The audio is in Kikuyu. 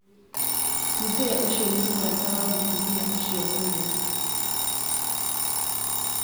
mũthee ũcio nĩ mũrata wa mũtumia ũcio mũno